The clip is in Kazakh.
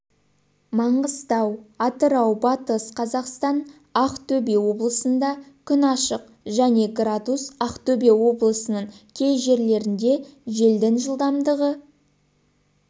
маңғыстау атырау батыс қазақстан ақтөбе облысында күн ашық және градус ақтөбе облысының кей жерлерінде желдің жылдамдығы